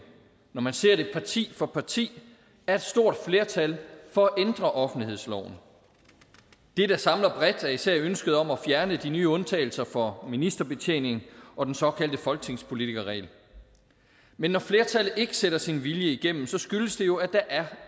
når man ser det parti for parti er et stort flertal for at ændre offentlighedsloven det der samler bredt er især ønsket om at fjerne de nye undtagelser for ministerbetjening og den såkaldte folketingspolitikerregel men når flertallet ikke sætter sin vilje igennem skyldes det jo at der er